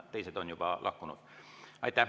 Teised on juba lahkunud.